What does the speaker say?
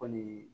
Kɔni